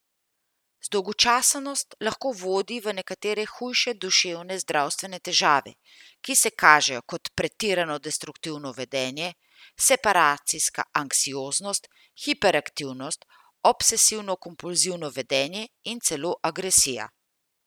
Zdolgočasenost lahko vodi v nekatere hude duševne zdravstvene težave, ki se kažejo kot pretirano destruktivno vedenje, separacijska anksioznost, hiperaktivnost, obsesivno kompulzivno vedenje in celo agresija.